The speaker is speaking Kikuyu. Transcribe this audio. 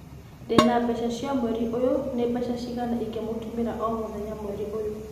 Ndĩna mbeca cia mweri ũyũ. Nĩ mbeca cigana ingĩmũtũmĩra o mũthenya mweri ũyũ